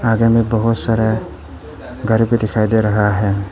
आगे मे बहुत सारा घर भी दिखाई दे रहा है।